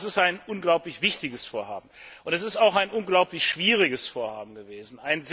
In der Tat, das ist ein unglaublich wichtiges Vorhaben, und es ist auch ein unglaublich schwieriges Vorhaben gewesen.